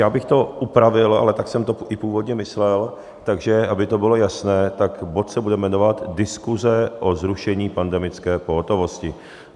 Já bych to upravil, ale tak jsem to i původně myslel, takže aby to bylo jasné, tak bod se bude jmenovat Diskuse o zrušení pandemické pohotovosti.